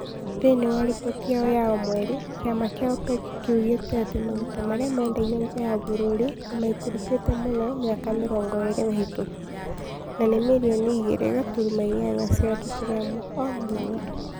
Thĩinĩ wa riboti yao ya o mweri, kĩama kĩa OPEC kĩoigĩte atĩ maguta marĩa mendagio nja ya bũrũri nĩ maikũrũkĩte mũno mĩaka mĩrongo ĩĩrĩ mĩhĩtũku, na nĩ mirioni igĩrĩ gũturuma inyanya cia tũturamu o mũthenya.